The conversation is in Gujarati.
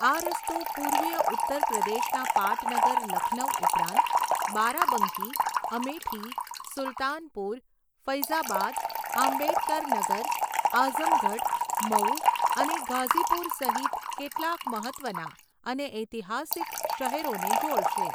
આ રસ્તો પૂર્વીય ઉત્તરપ્રદેશના પાટનગર લખનઉ ઉપરાંત બારાબંકી, અમેઠી, સુલતાનપુર, ફૈઝાબાદ, આંબેડકરનગર, આઝમગઢ, મઉ અને ગાઝીપુર સહિત કેટલાક મહત્ત્વના અને ઐતિહાસિક શહેરોને જોડશે.